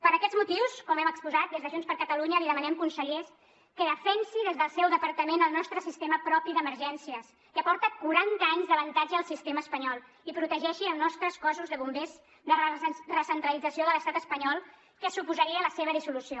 per aquests motius com hem exposat des de junts per catalunya li demanem conseller que defensi des del seu departament el nostre sistema propi d’emergències que porta quaranta anys d’avantatge al sistema espanyol i protegeixi els nostres cossos de bombers de la recentralització de l’estat espanyol que suposaria la seva dissolució